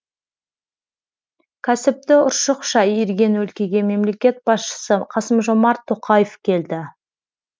кәсіпті ұршықша иірген өлкеге мемлекет басшысы қасым жомарт тоқаев келді